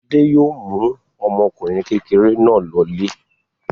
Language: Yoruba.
Fade yóò mú ọmọkùnrin kékeré náà lọlé.